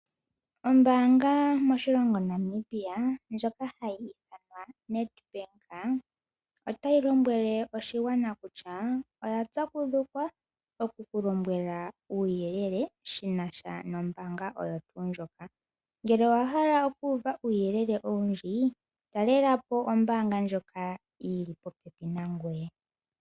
Ombaanga moshilongo Namibia ndjoka hayi ithanwa NedBank otayi lombwele oshigwana kutya oya pyakudhukwa oku ku lombwela uuyelele shi na sha nombaanga oyo tuu ndjoka. Ngele owa hala oku uva uuyelele owundji talela po ombaanga ndjoka yi li popepi nangoye.